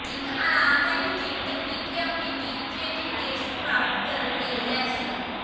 ਇੱਕ ਆਰਾਮਦਾਇਕ ਜਿੰਮ ਤਕਨੀਕੀ ਆਪਣੇ ਟੀਚੇ ਅਤੇ ਉਦੇਸ਼ ਨੂੰ ਪ੍ਰਾਪਤ ਕਰਨ ਲਈ ਲੈਸ